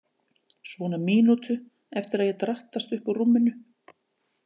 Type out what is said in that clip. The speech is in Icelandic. Svona mínútu eftir að ég drattast upp úr rúminu.